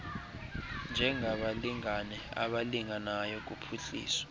njengabalingane abalinganayo kuphuhliso